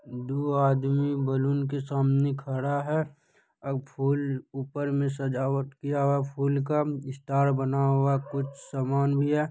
दू आदमी बैलून के सामने खड़ा है। और फूल ऊपर में सजावट किया हुआ है फूल का स्टार बना हुआ कुछ सामान भी है।